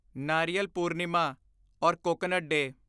ਨਾਰੀਅਲ Purnima or coconut day